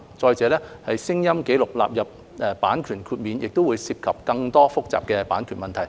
再者，將聲音紀錄納入版權豁免亦會涉及更多複雜的版權問題。